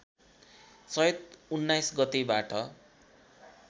चैत १९ गतेबाट